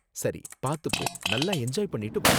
சரி, பாத்து போ. நல்லா என்ஜாய் பண்ணிட்டு வா.